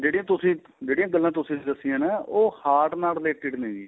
ਜਿਹੜੀ ਤੁਸੀਂ ਜਿਹੜੀਆਂ ਗੱਲਾਂ ਤੁਸੀਂ ਦੱਸੀਆਂ ਨਾ ਉਹ heart ਨਾਲ related ਨੇ ਜੀ